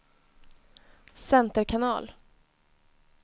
center kanal